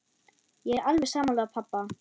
Ég er alveg sammála pabba.